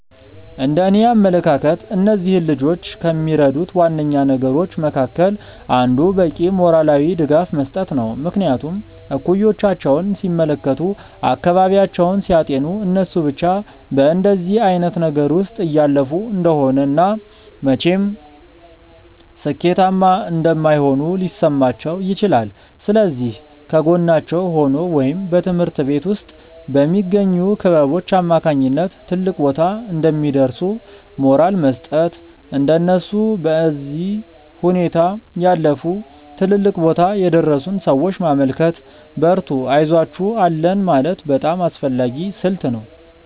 እንደእኔ አመለካከት እነዚህን ልጆች ከሚረዱት ዋነኛ ነገሮች መካከል አንዱ በቂ ሞራላዊ ድጋፍ መስጠት ነው። ምክንያቱም እኩዮቻቸውን ሲመለከቱ፤ አካባቢያቸውን ሲያጤኑ እነሱ ብቻ በእንደዚህ አይነት ነገር ውስጥ እያለፉ እንደሆነ እና መቼም ሥኬታማ እንደማይሆኑ ሊሰማቸው ይችላል። ስለዚህ ከጎናቸው ሆኖ ወይም በትምሀርት ቤት ውስጥ በሚገኙ ክበቦች አማካኝነት ትልቅ ቦታ እንደሚደርሱ ሞራል መስጠት፤ እንደነሱ በዚህ ሁኔታ ያለፉ ትልልቅ ቦታ የደረሱን ሰዎች ማመልከት፤ በርቱ አይዞአችሁ አለን ማለት በጣም አስፈላጊ ስልት ነው።